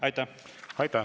Aitäh!